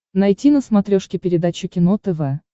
найти на смотрешке передачу кино тв